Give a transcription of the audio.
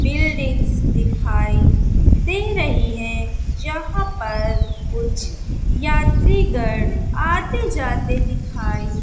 buildings दिखाई दे रही है जहां पर कुछ यात्रिगढ़ आते जाते दिखाई--